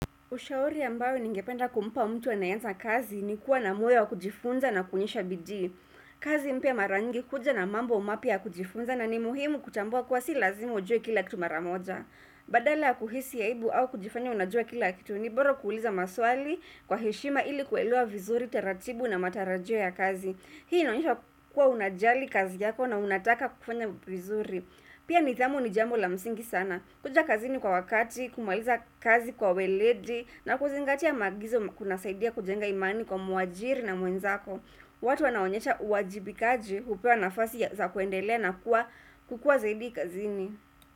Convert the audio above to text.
Ushauri ambayo ningependa kumpa mtu anayeanza kazi, ni kuwa na moyo wa kujifunza na kuonyesha bidii. Kazi mpya mara nyingi huja na mambo mapya ya kujifunza, na ni muhimu kutambua kuwa si lazima ujue kila kitu maramoja. Badala kuhisi aibu au kujifanya unajua kila kitu, ni bora kuuliza maswali kwa heshima, ili kuelewa vizuri taratibu na matarajio ya kazi. Hii inaonyesha kuwa unajali kazi yako na unataka kufanya vizuri. Pia nidhamu ni jambo la msingi sana. Kuja kazini kwa wakati, kumaliza kazi kwa ueledi, na kuzingatia maagizo, kuna saidia kujenga imani kwa mwaajiri na mwenzako. Watu wanaonyesha uwajibikaji, upewa nafasi za kuendelea na kukuwa zaidi kazini.